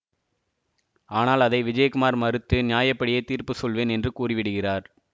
ஆனால் அதை விஜயகுமார் மறுத்து நியாயப்படியே தீர்ப்பு சொல்வேன் என்று கூறி விடுகிறார்